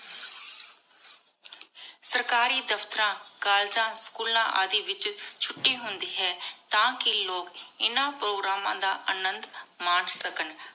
ਸਰਕਾਰੀ ਦਫਤਰਾਂ ਕੋਲ੍ਲੇਗਾਂ ਸ੍ਚੂਲਾਂ ਆਦਿ ਵਿਚ ਛੁਟੀ ਹੁੰਦੀ ਹੈ ਤਾ ਕੀ ਲੋਗ ਇਨਾ ਪ੍ਰੋਗਰਾਮਾਂ ਦਾ ਅਨੰਦੁ ਮਨ ਸਕਣ